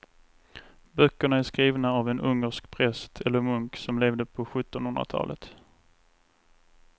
Böckerna är skrivna av en ungersk präst eller munk som levde på sjuttonhundratalet.